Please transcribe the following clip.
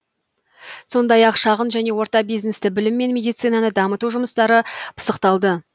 сондай ақ шағын және орта бизнесті білім мен медицинаны дамыту жұмыстары пысықталды